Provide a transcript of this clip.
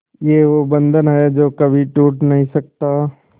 ये वो बंधन है जो कभी टूट नही सकता